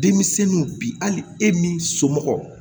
Denmisɛnninw bi hali e min somɔgɔ